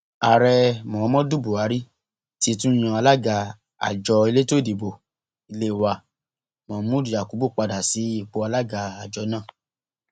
ààrẹ muhammadu buhari ti tún yan alága àjọ elétò ìdìbò ilé wa mahmood yakubu padà sí ipò alága àjọ náà